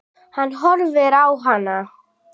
Hann horfir á hana hvumsa.